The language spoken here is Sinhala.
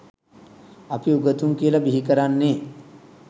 අපි උගතුන් කියල බිහිකරන්නේ